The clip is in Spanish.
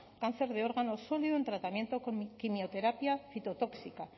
cáncer de órgano sólido en tratamiento con quimioterapia citotóxica